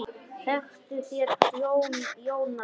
Þektuð þér Jónas minn?